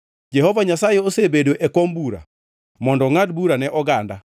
Jehova Nyasaye osebedo e kom bura mondo ongʼad bura ne oganda.